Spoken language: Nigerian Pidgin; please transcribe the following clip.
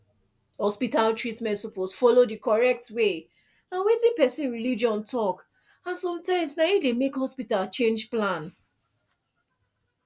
hospital treatment suppose follow d correct way and wetin person religion talk and sometimes na e de make hospital change plan